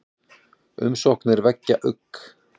Umsóknirnar vekja ugg